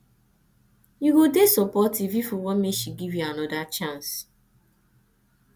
you go dey supportive if you want make she give you you anoda chance